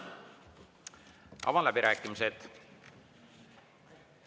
Avan läbirääkimised.